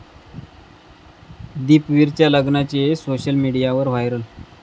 दीपवीरच्या लग्नाचे सोशल मीडियावर व्हायरल